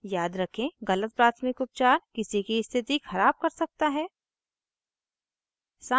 याद रखें गलत प्राथमिक उपचार किसी की स्थिति ख़राब कर सकता है